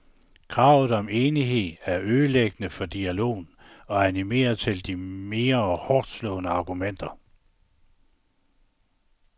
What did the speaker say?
Kravet om enighed er ødelæggende for dialogen, og animerer til de mere hårdtslående argumenter.